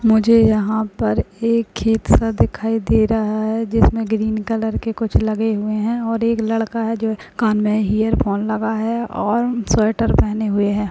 मुझे यहां पर एक खेत सा दिखाई दे रहा है जिसमें ग्रीन कलर के कुछ लगे हुए हैं और एक लड़का है जो कान में इयरफोन लगा है और स्वेटर पहने हुए है।